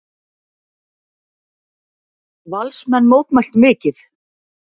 Valsmenn mótmæltu mikið.